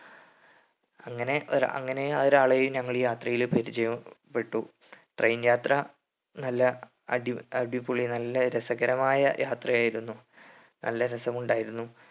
അങ്ങനെ ഒര അങ്ങനെ ഒരാളെയും ഈ യാത്രയിൽ പരിചയപ്പെട്ടു train യാത്ര നല്ല അടി അടിപൊളി നല്ല രസകരമായ യാത്രയായിരുന്നു നല്ല രസമുണ്ടായിരുന്നു